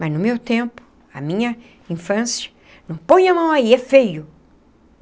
Mas no meu tempo, a minha infância... Não põe a mão aí, é feio.